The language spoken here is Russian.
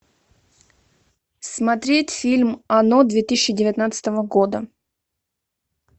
смотреть фильм оно две тысячи девятнадцатого года